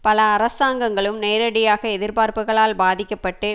பல அரசாங்கங்களும் நேரடியாக எதிர்பார்ப்புகளால் பாதிக்க பட்டு